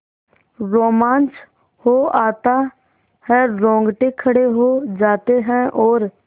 रोमांच हो आता है रोंगटे खड़े हो जाते हैं और